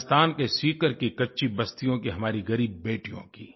राजस्थान के सीकर की कच्ची बस्तियों की हमारी ग़रीब बेटियों की